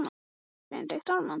Þú ferð til Ísafjarðar á morgun.